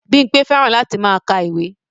Bímpé fẹ́ràn láti máa ka ìwé